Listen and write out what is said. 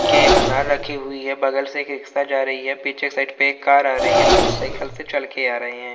के अनार रखे हुई है बग़ल से एक रिक्शा जा रही है पीछे साइड पे एक कार आ रही है औ कुछ साइकल से चल के आ रहे हैं।